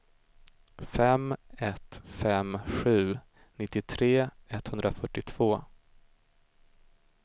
fem ett fem sju nittiotre etthundrafyrtiotvå